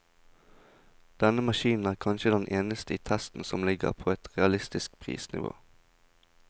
Denne maskinen er kanskje den eneste i testen som ligger på et realistisk prisnivå.